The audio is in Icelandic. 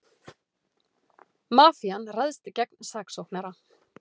Mafían ræðst gegn saksóknara